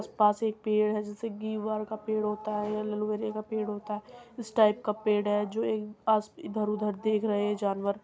उस पास एक पेड़ है जिसे घीवर का पेड़ होता है। ऐलोवेरे का पेड़ होता है। उस टाइप का पेड़ है। जो पास इधर-उधर देख रहे है जानवर --